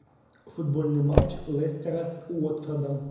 футбольный матч лестера с уотфордом